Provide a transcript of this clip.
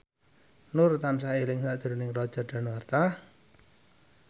Nur tansah eling sakjroning Roger Danuarta